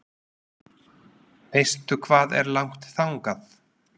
Veistu hvað er langt þangað?